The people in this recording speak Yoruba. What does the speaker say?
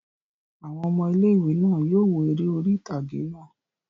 Àwọn ọmọ ilé-ìwé náà yóò wo eré orí ìtàgé náà